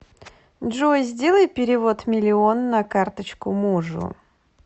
джой сделай перевод миллион на карточку мужу